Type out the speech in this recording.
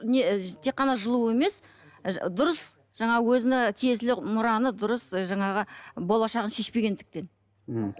не тек қана жылу емес дұрыс жаңағы өзіне тиесілі мұраны дұрыс жаңағы болашағын шешпегендіктен мхм